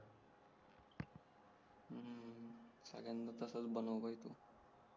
सगळयांना तसेच बनव भाई तू